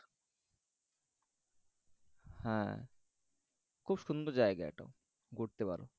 হ্যাঁ খুব সুন্দর জায়গা এটাও ঘুরতে পারো। হম